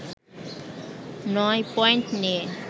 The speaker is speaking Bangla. নয় পয়েন্ট নিয়ে